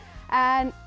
en